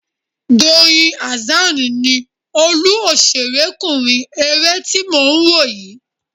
Doyin Hassan ni olú òṣèrékùnrin eré tí mò ń wò yìí